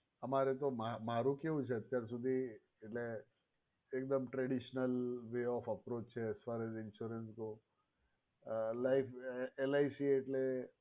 અમારે તો મારે કેવું છે અત્યાર સુધી એટલે એકદમ traditional way of approch છે LIC એટલે